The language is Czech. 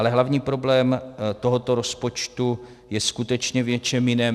Ale hlavní problém tohoto rozpočtu je skutečně v něčem jiném.